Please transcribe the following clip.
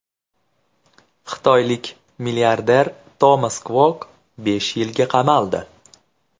Xitoylik milliarder Tomas Kvok besh yilga qamaldi.